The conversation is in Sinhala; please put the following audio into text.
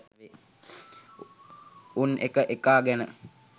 උන් එක එකා ගැන